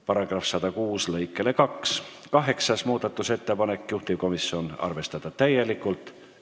Kaheksas muudatusettepanek on majanduskomisjonilt, juhtivkomisjoni otsus: arvestada täielikult.